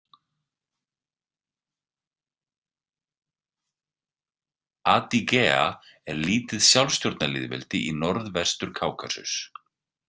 Adygea er lítið sjálfsstjórnarlýðveldi í norðvestur Kákasus.